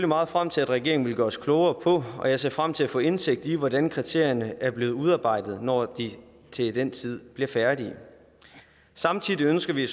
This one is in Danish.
meget frem til regeringen vil gøre os klogere på og jeg ser frem til at få indsigt i hvordan kriterierne er blevet udarbejdet når de til den tid bliver færdige samtidig ønsker vi